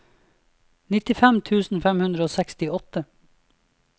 nittifem tusen fem hundre og sekstiåtte